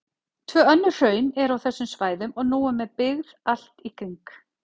Tvö önnur hraun eru á þessum svæðum og nú með byggð allt í kring.